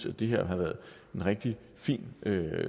at det her har været en rigtig fin